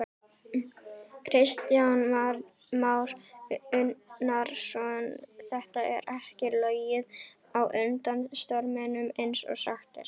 Kristján Már Unnarsson: Þetta er ekki lognið á undan storminum eins og sagt er?